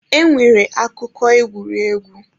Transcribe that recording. E nwere akụkọ egwuregwu.